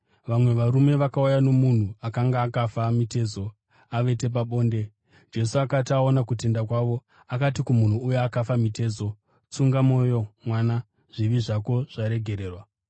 Vamwe varume vakauya nomunhu akanga akafa mitezo, avete pabonde. Jesu akati aona kutenda kwavo akati kumunhu uya akafa mitezo, “Tsunga mwoyo, mwana, zvivi zvako zvaregererwa.”